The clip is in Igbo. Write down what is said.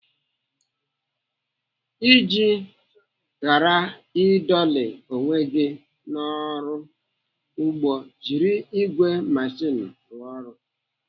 Iji ghara ịdọlị onwe gị n'ọrụ ugbo jiri ìgwè meshin rụọ ọrụ.